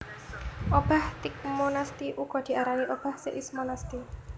Obah tigmonasti uga diarani obah seismonasti